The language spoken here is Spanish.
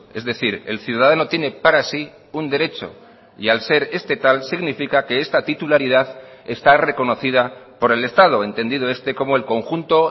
es decir el ciudadano tiene para sí un derecho y al ser este tal significa que esta titularidad está reconocida por el estado entendido este como el conjunto